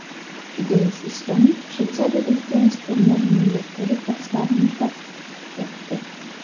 Denis Istomin Shveysariyadagi tennis turnirining yakkalik bahslarini tark etdi.